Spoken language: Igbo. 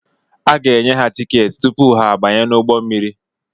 Aga enye ha tikeeti tupu ha abanye n'ụgbọ mmiri.